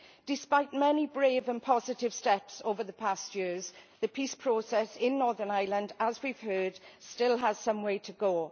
Despite many brave and positive steps over the past years the peace process in Northern Ireland, as we have heard, still has some way to go.